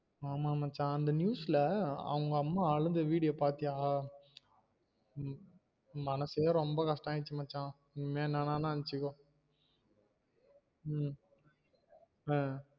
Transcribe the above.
ஆமா மச்சா, அந்த news ல அவுங்க அம்மா அழுத video பாத்தியா உம் மனசே ரொம்ப கஷ்டமாச்சி மச்சா நீ என்ன வேணாலும் நெனச்சுக்கோ உம் ஆஹ்